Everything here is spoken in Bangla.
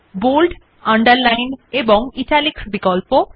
বোল্ড আন্ডারলাইন এবং ইটালিক্স বিকল্প